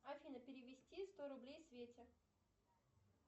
афина перевести сто рублей свете